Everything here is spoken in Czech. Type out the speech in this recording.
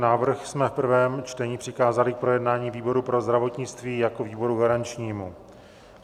Návrh jsme v prvém čtení přikázali k projednání výboru pro zdravotnictví jako výboru garančnímu.